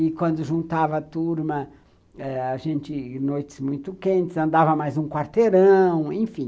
E, quando juntava turma, noites muito quentes, andava mais um quarteirão, enfim.